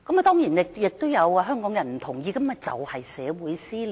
當然，這也有香港人不同意，這就是社會撕裂。